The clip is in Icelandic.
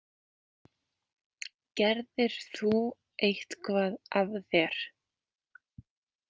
Gerðir þú eitthvað af þér?